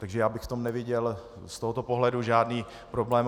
Takže já bych v tom neviděl z tohoto pohledu žádný problém.